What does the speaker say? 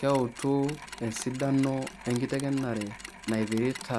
keutu esidano enkitengenare naipirita